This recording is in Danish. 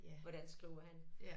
Hvordan skriver han